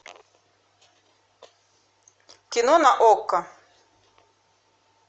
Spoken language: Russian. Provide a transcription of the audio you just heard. кино на окко